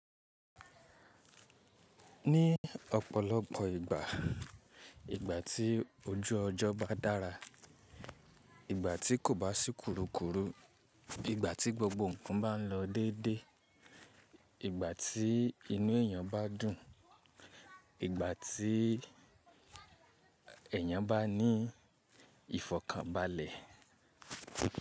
Ní ọ̀pọ̀lọpọ̀ ìgbà, ìgbà tí ojú ọjọ́ bá dára, ìgbà tí kò bá sì kurukuru, ìgbà tí gbogbo ǹkan bá ń lọ déédé, ìgbà tí inú èèyàn bá dùn, ìgbà tí ẹ̀yàn bá ní ìfọ̀kànbalẹ̀.